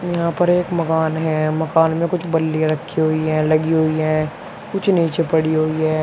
यहां पर एक मकान है मकान में कुछ बल्लियां रखी हुई है लगी हुई है कुछ नीचे पड़ी हुई है।